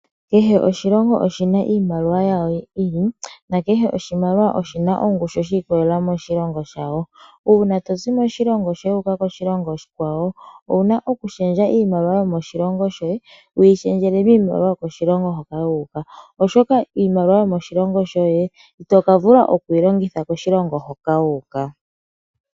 Kehe oshina oshina iimaliwa yi ili nakehe oshimaliwa oshina ongushu shi ikolelela moshilongo shayo . Uuna tozi moshilongo shoye wu uka koshilongo oshikwawo owuna oku shendja iimaliwa yomoshilongo shoye wu yi shendjele miimaliwa yokoshilongo hoka wu uka, oshoka iimaliwa yomoshilongo shoye itokavula okuyi longitha koshilongo hoka wu uka.